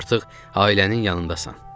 Artıq ailənin yanındasan.